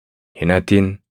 Hin hatin.